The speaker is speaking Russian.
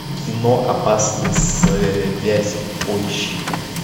кино опасные связи поищи ка